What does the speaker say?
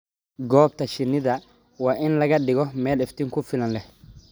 Goobta shinnida waa in la dhigaa meel iftiin ku filan leh.